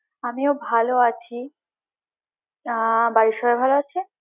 আমিও ভালো আছি আহ বাড়ির সবাই ভালো আছে